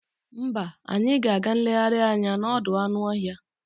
Mba, anyị ga-aga nlegharị anya n'ọdọụmụanụọhịa